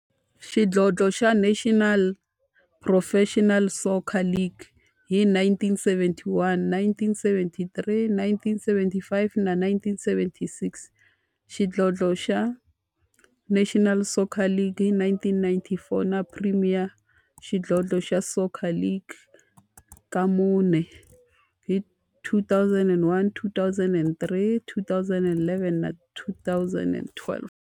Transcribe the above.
Xidlodlo xa National Professional Soccer League hi 1971, 1973, 1975 na 1976, xidlodlo xa National Soccer League hi 1994, na Premier Xidlodlo xa Soccer League ka mune, hi 2001, 2003, 2011 na 2012.